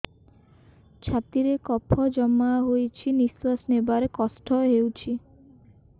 ଛାତିରେ କଫ ଜମା ହୋଇଛି ନିଶ୍ୱାସ ନେବାରେ କଷ୍ଟ ହେଉଛି